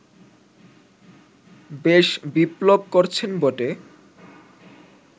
বেশ বিপ্লব করছেন বটে